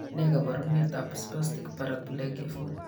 Ne kaabarunetap Spastic paraplegia 4?